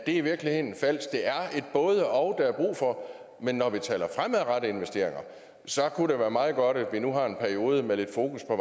i virkeligheden falske er et både og der er brug for men når vi taler fremadrettede investeringer kunne det være meget godt at vi nu har en periode med lidt fokus på